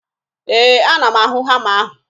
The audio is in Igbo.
Ee, ana m ahụ hama ahụ